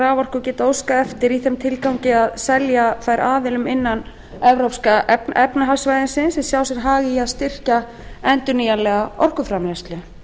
raforku geta óskað eftir í þeim tilgangi að selja þær aðilum innan evrópska efnahagssvæðisins sem sjá sér hag í að styrkja endurnýjanlega orkuframleiðslu